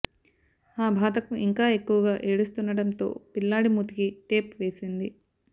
ఆ బాధకు ఇంకా ఎక్కువగా ఏడుస్తుండడంతో పిల్లాడి మూతికి టేప్ వేసింది